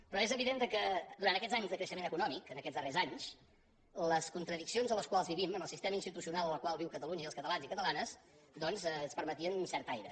però és evident que durant aquests anys de creixement econòmic aquests darrers anys les contradiccions en les quals vivim en el sistema institucional en el qual viu catalunya i els catalans i catalanes doncs ens permetien un cert aire